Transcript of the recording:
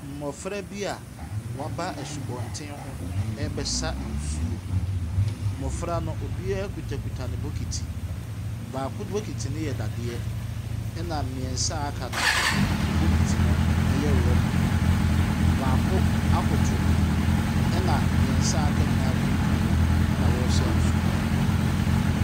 Mmɔfra bi a waba asubonten ho ɛrebɛsa nsuo. Mmɔfra no obia kutakuta ne bokiti. Baako bokiti no yɛ dadeɛ ɛna mmiɛnsa aka no nso wɔn bokiti no ɛyɛ rubber. Baako akoto ɛna mmiɛnsa aka nyinaa ekuntunu hɔ a ɔresa nsuo no.